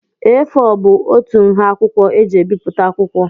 A4 bụ otú nha akwụkwọ e ji ebipụta akwụkwọ.